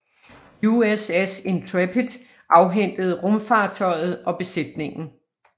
USS Intrepid afhentede rumfartøjet og besætningen